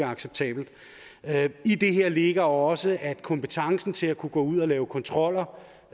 acceptabelt i det her ligger også at kompetencen til at kunne gå ud og lave kontroller